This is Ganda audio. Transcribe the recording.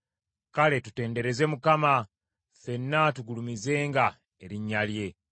Kale tutendereze Mukama , ffenna tugulumizenga erinnya lye.